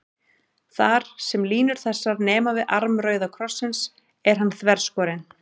Þar, sem línur þessar nema við arm rauða krossins, er hann þverskorinn.